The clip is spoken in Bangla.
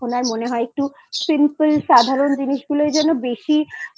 এখন মনে হয়একটু Simple সাধারণ জিনিস গুলোই যেন বেশি